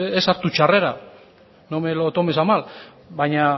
ez hartu txarrera no me lo tomes a mal baina